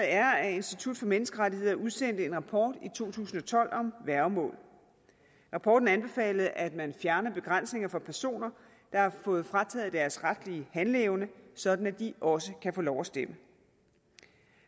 er at institut for menneskerettigheder udsendte en rapport i to tusind og tolv om værgemål rapporten anbefalede at man fjerner begrænsninger for personer der har fået frataget deres retlige handleevne sådan at de også kan få lov at stemme